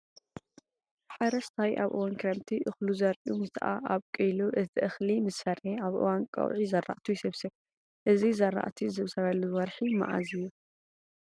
ሓረስታይ ኣብ እዋን ክረምቲ እኽሉ ዘሪኡ ምስኣብቆለ እቲ እኽሊ ምስፈረየ ኣብ እዋን ቀውዒ ዝራእቱ ይስብስብ። እዚ ዝራእቲ ዝስብሰበሉ ወርሒ መዓዝ መዓዝ እዩ?